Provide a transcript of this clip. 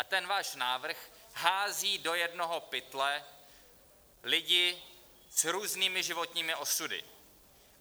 A ten váš návrh hází do jednoho pytle lidi s různými životními osudy.